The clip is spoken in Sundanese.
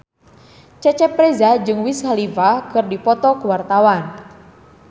Cecep Reza jeung Wiz Khalifa keur dipoto ku wartawan